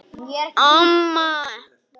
Segjum það.